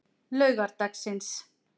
laugardagsins